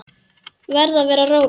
Verð að vera róleg.